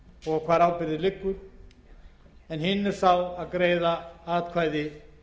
og hvar ábyrgðin liggur hinn er sá að greiða atkvæði